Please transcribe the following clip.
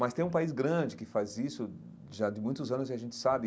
Mas tem um país grande que faz isso já de muitos anos e a gente sabe.